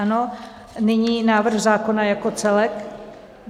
Ano, nyní návrh zákona jako celek.